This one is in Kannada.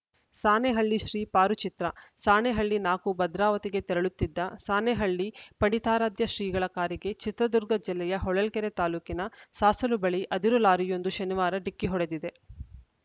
ಸಾಣೆಹಳ್ಳಿಶ್ರೀ ಪಾರು ಚಿತ್ರ ಸಾಣೆಹಳ್ಳಿ ನಾಲ್ಕು ಭದ್ರಾವತಿಗೆ ತೆರಳುತ್ತಿದ್ದ ಸಾಣೆಹಳ್ಳಿ ಪಂಡಿತಾರಾಧ್ಯ ಶ್ರೀಗಳ ಕಾರಿಗೆ ಚಿತ್ರದುರ್ಗ ಜಿಲ್ಲೆಯ ಹೊಳಲ್ಕೆರೆ ತಾಲೂಕಿನ ಸಾಸಲು ಬಳಿ ಅದಿರು ಲಾರಿಯೊಂದು ಶನಿವಾರ ಡಿಕ್ಕಿ ಹೊಡೆದಿದೆ